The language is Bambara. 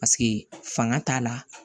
Paseke fanga t'a la